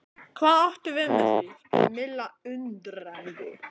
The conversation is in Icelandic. Hvað áttu við með því? spurði Milla undrandi?